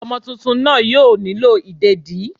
Omo túntún naa yóò nílo ìdédi